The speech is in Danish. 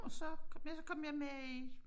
Og så ja så kom jeg med i